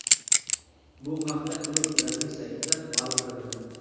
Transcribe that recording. Bu haqda klub rasmiy saytida ma’lum qilindi .